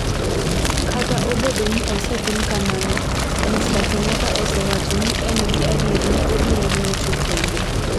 Kata obedo ni osetim kamano, Mr. Kenyatta osewacho ni en gi adier ni obiro locho kendo.